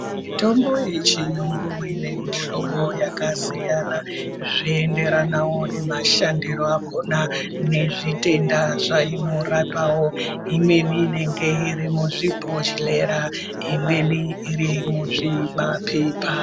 Mitombo ye chiyungu ine mu hlobo yaka siyana zvei enderanawo nema shandiro akona ne zvitenda zvaino rapawo imweni inenge iri muzvi bhodhlera imweni iri muzvi mapepa.